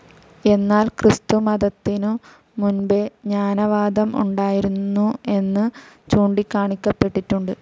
എന്നാൽ ക്രിസ്തുമതത്തിനും മുൻപേ ജ്ഞാനവാദം ഉണ്ടായിരുന്നു എന്നു ചൂണ്ടികാണിക്കപ്പെട്ടിട്ടുണ്ട്.